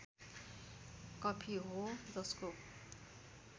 coffee हो जसको